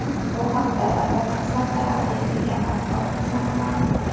Bu haqda Davlat xizmatlari agentligi matbuot xizmati ma’lum qildi .